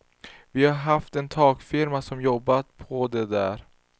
Vi har haft en takfirma som har jobbat på det där.